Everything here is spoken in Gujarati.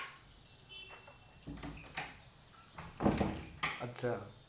અચ્છા